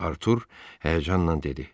Artur həyəcanla dedi.